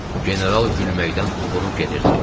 General gülməkdən uğunub gedirdi.